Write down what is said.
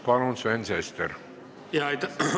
Palun, Sven Sester!